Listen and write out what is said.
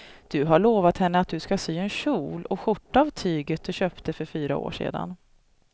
Du har lovat henne att du ska sy en kjol och skjorta av tyget du köpte för fyra år sedan.